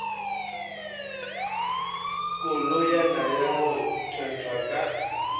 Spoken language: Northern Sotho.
koloyana ya go thwethwa ka